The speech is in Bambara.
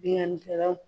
Binnkannikɛlaw